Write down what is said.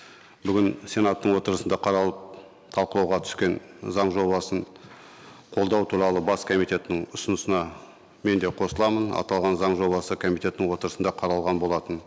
бүгін сенаттың отырысында қаралып талқылауға түскен заң жобасын қолдау туралы бас комитетінің ұсынысына мен де қосыламын аталған заң жобасы комитеттің отырысында қаралған болатын